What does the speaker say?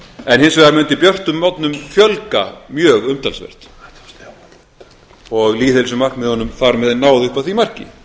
myrkir hins vegar mundi björtum morgnum fjölga mjög umtalsvert og lýðheilsumarkmiðunum þar með náð upp að því marki